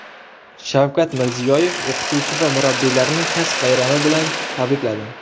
Shavkat Mirziyoyev o‘qituvchi va murabbiylarni kasb bayrami bilan tabrikladi.